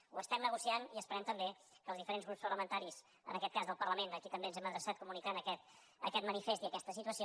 ho estem negociant i esperem també que els diferents grups parlamentaris en aquest cas del parlament a qui també ens hem adreçat per comunicar aquest manifest i aquesta situació